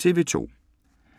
TV 2